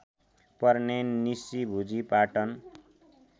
पर्ने निसिभुजी पाटन